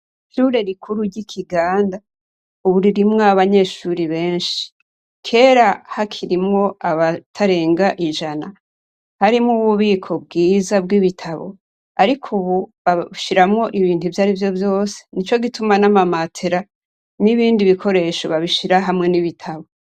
Ishure rikuru ry'Ikigansa ubu ririmwo abanyeshure benshi. Kera hakirimwo abatarenga ijana. Harimwo ububiko bwiza bw'ibitabo ariko ubu babushiramwo ibindi vyarivyo vyose, nicogituma nama matera nibindi bikoresho babishira hamwe n'ibitabu.